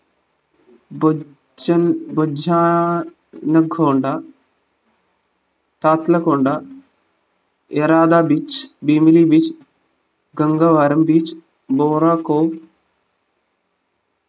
ബഡ്ജെൻ ബഡ്ജാ നുകോണ്ട താതുലകൊണ്ട യരാത beach Bheemili beach Gangavaram beach ബൊറോക്കോവ്